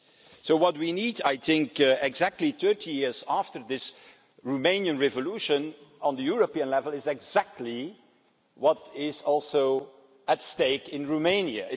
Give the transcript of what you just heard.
So what we need, I think, exactly 30 years after the Romanian revolution, at European level is exactly what is also at stake in Romania.